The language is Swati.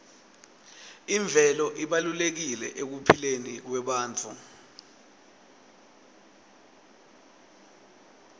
imvelo ibalulekile ekuphileni kwebantfu